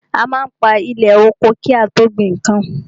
A má ń pa ilẹ̀ oko ki a tó gbin nnkan.